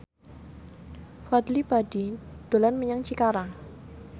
Fadly Padi dolan menyang Cikarang